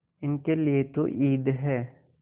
इनके लिए तो ईद है